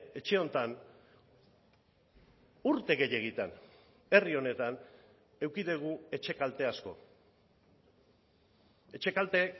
etxe honetan urte gehiegitan herri honetan eduki dugu etxe kalte asko etxe kalte